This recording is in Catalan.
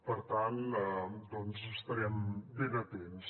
per tant doncs estarem ben atents